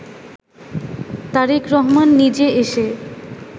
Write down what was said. তারেক রহমান নিজে এসে